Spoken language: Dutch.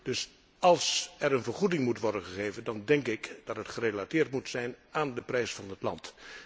Dus als er een vergoeding moet worden gegeven, dan denk ik dat die gerelateerd moet zijn aan de prijs van de klant.